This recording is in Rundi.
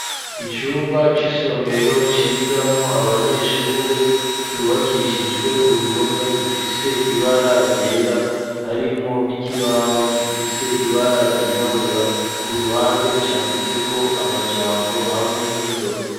Icumba c'isomero cigamwo abanyeshure cubakishijwe uruhome rufise ibara ryera harimwo n'ikibaho gifise ibara ryirabura ku ruhande canditse ko amajambo hamwe n'indome.